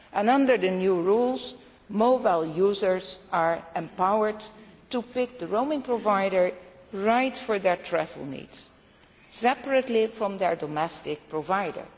Under the new rules mobile users are empowered to pick the roaming provider right for their travel needs, separately from their domestic provider.